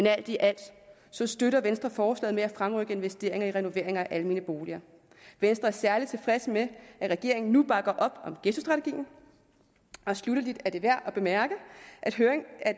alt i alt støtter venstre forslaget om at fremrykke investeringer i renovering af almene boliger venstre er særlig tilfreds med at regeringen nu bakker op om ghettostrategien sluttelig er det værd at bemærke